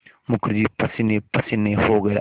मुखर्जी पसीनेपसीने हो गया